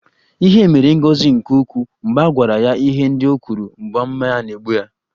Ihere mere Ngozi nke ukwuu mgbe a gwara ya ihe ndị o kwuru mgbe mmanya na-egbu ya